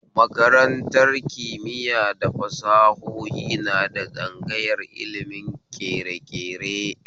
Makaratar kimiya da fasahohi na da tsangayar ilimin ƙereƙere